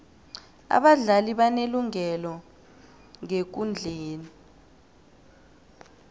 abadlali banelungelo ngekundleni